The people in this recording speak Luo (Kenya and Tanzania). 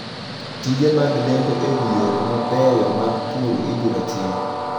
Tije mag lendo e wi yore mabeyo mag pur ibiro tim.